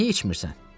Niyə içmirsən?